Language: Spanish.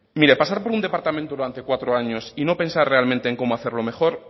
mire pasar por un departamento durante cuatro años y no pensar realmente en cómo hacerlo mejor